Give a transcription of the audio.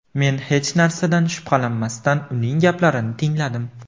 Men hech narsadan shubhalanmasdan uning gaplarini tingladim.